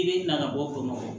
I bɛ na ka bɔ